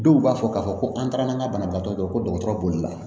Dɔw b'a fɔ k'a fɔ ko an taara n'an ka banabagatɔ ye ko dɔgɔtɔrɔ b'oli la